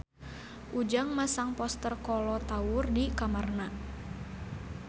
Ujang masang poster Kolo Taure di kamarna